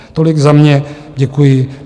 Tolik za mě, děkuji.